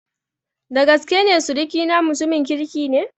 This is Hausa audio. Dagaskene sirikina mutumin kirki ne.